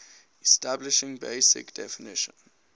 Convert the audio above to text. establishing basic definition